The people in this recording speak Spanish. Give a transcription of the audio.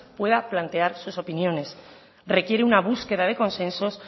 pueda plantear sus opiniones requiere una búsqueda de consensos